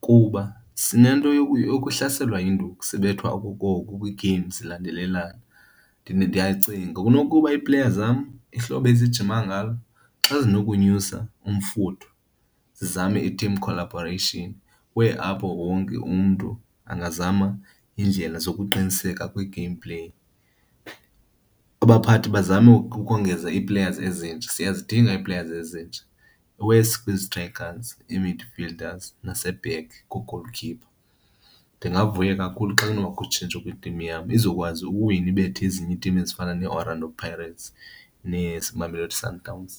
kuba sinento yokuhlaselwa yinduku, sibethwa okokoko kwii-games zilandelelana. Ndiyacinga kunokuba iipleya zam ihlobo ezinjima ngalo xa zinokonyusa umfutho sizame i-team collaboration where apho wonke umntu angazama iindlela zokuqiniseka kwi-gameplay. Abaphathi bazame ukongeza ii-players ezintsha, siyazidinga ii-players ezintsha, iwesi kwizistrayikhazi, ii-mildfielders nase-back ku-goalkeeper. Ndingavuya kakhulu xa kunobakho utshintsho kwitimu yam izokwazi ukuwina ibethe ezinye iitimu ezifana neeOrlando Pirates nezi Mamelodi Sundowns.